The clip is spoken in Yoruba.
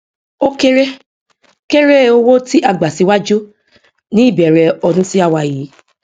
o kere kere owó tí a gbà síwájú ní ìbẹrẹ ọdún tí a wà yìí